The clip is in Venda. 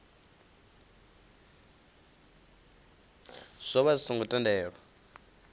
zwo vha zwi songo tendelwa